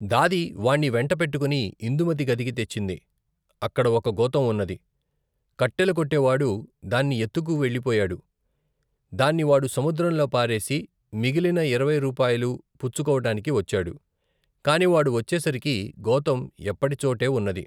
దాది వాణ్ణి వెంట పెట్టుకుని ఇందుమతి గదికి తెచ్చింది. అక్కడ ఒకగోతం ఉన్నది. కట్టెలుకొట్టెవాడు దాన్ని ఎత్తుకు వెళ్లి పోయాడు. దాన్ని వాడు సముద్రంలో పారేసి, మిగిలిన ఇరవై రూపాయలూ పుచ్చుకోవటానికి వచ్చాడు. కాని వాడు వచ్చేసరికి గోతం ఎప్పటిచోటేవున్నది.